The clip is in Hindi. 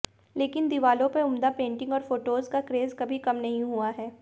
लेकिन दीवालों पर उम्दा पेंटिंग और फोटो का क्रेज कभी कम नहीं हुआ है